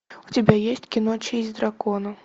у тебя есть кино честь дракона